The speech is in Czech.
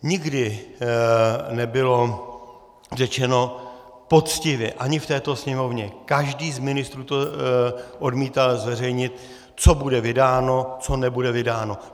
Nikdy nebylo řečeno poctivě, ani v této Sněmovně, každý z ministrů to odmítal zveřejnit, co bude vydáno, co nebude vydáno.